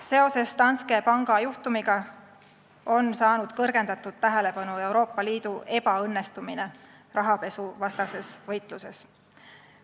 Seoses Danske panga juhtumiga on saanud kõrgendatud tähelepanu Euroopa Liidu ebaõnnestumine rahapesuvastases võitluses.